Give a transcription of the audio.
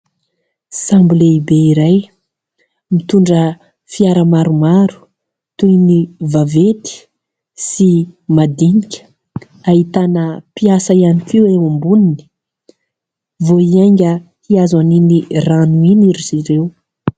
Sambo lehibe iray mitondra fiara maromaro toy ny vaventy sy madinika, ahitana mpiasa ihany koa eo amboniny vao hiainga hihazo an'iny rano iny ry zareo.